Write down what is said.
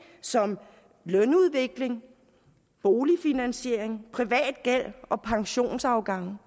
som lønudvikling boligfinansiering privat gæld og pensionsafgange